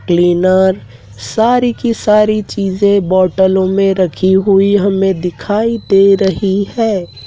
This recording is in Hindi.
क्लीनर सारी की सारी चीजें बॉटलो मे रखी हुई हमे दिखाई दे रही हैं।